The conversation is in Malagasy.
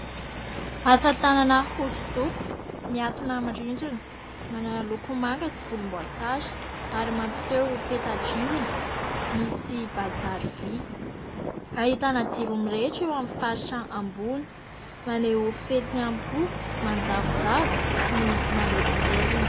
Asa tanana hosodoko, mihantona amin'ny rindrina. Manana loko manga sy volomboasary ary mampiseho peta-drindrina, misy bazary vy. Ahitana jiro mirehitra eo amin'ny faritra ambony, maneho fihetsem-po manjavozavo no manelingelina.